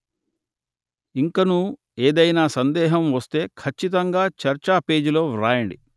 ఇంకనూ ఏదైనా సందేహం వస్తే ఖచ్చితంగా చర్చా పేజీలో వ్రాయండి